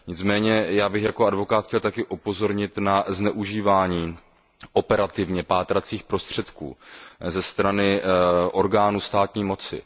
Nicméně já bych jako advokát chtěl také upozornit na zneužívání operativně pátracích prostředků ze strany orgánů státní moci.